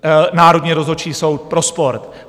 Národní rozhodčí soud pro sport.